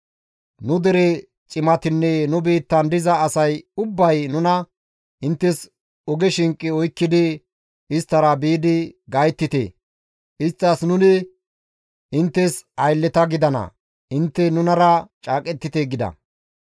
Nu dere cimatinne nu biittan diza asay ubbay nuna, inttes oge shinqe oykkidi isttara biidi gayttite; isttas, ‹Nuni inttes aylleta gidana; intte nunara caaqettite› gida.